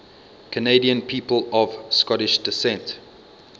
canadian people of scottish descent